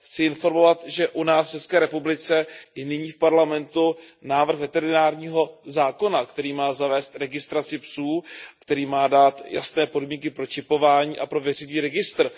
Chci informovat, že u nás v České republice je nyní v Parlamentu návrh veterinárního zákona, který má zavést registraci psů, který má dát jasné podmínky pro čipování a pro veřejný registr.